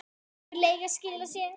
Hefur leiga skilað sér?